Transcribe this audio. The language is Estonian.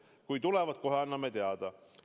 Kui tulevad, kohe anname teada.